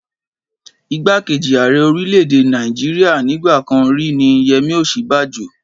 Ìgbákejì ààrẹ orílẹ̀-èdè Nàìjíríà nígbà kan rí ní Yemi Osinbajo.